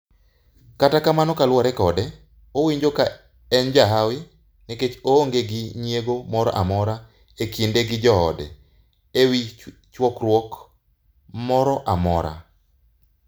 Katakamano kaluore kode, owinjo kaenjahawi, nikech oonge gi nyiego moro amora ekinde gi joode ewi chokruok moroamora